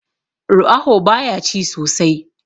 ruaho baya ci sosai